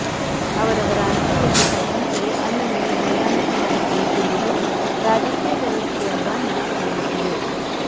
ಅವರವರ ಅನುಕೂಲಕ್ಕೆ ತಕ್ಕಂತೆ ಅಲ್ಲಲ್ಲಿ ಹೊಂದಾಣಿಕೆ ಮಾಡಿಕೊಳ್ಳುತ್ತಿರುವುದು ರಾಜಕೀಯ ವ್ಯವಸ್ಥೆಯ ಬಣ್ಣ ತೆರೆದಿಟ್ಟಿದೆ